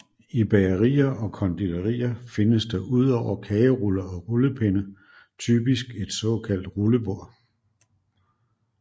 I bagerier og konditorier findes der udover kageruller og rullepinde typisk et såkaldt rullebord